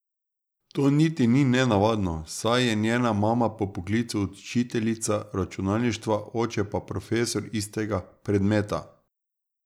To niti ni nenavadno, saj je njena mama po poklicu učiteljica računalništva, oče pa profesor istega predmeta.